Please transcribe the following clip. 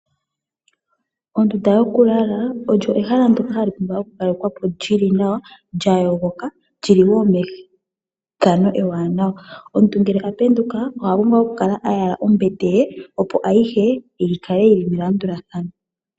Ondunda yokulala olyo ehala ndoka hali pumbwa okukalekwa po lyili nawa, lya yogoka, lyili woo methano ewanawa. Omuntu ngele a penduka oha pumbwa okukala a yala ombete ye opo ayihe yi kale yili melandulathano.